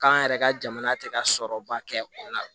K'an yɛrɛ ka jamana tɛ ka sɔrɔba kɛ o la